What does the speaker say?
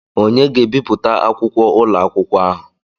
Onye ga-ebipụta akwụkwọ ụlọ akwụkwọ ahụ?